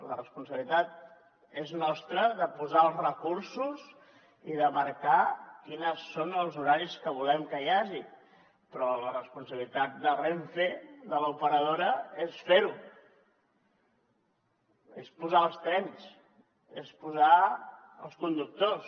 la responsabilitat és nostra de posar hi els recursos i de marcar quins són els horaris que volem que hi hagi però la responsabilitat de renfe de l’operadora és fer ho és posar els trens és posar els conductors